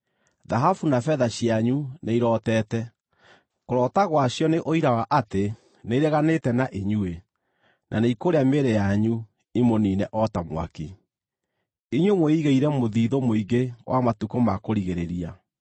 Thahabu na betha cianyu nĩ irootete. Kũroota gwacio nĩ ũira wa atĩ nĩireganĩte na inyuĩ, na nĩikũrĩa mĩĩrĩ yanyu imũniine o ta mwaki. Inyuĩ mwĩigĩire mũthithũ mũingĩ wa matukũ ma kũrigĩrĩria.